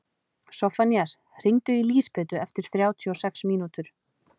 Soffanías, hringdu í Lísabetu eftir þrjátíu og sex mínútur.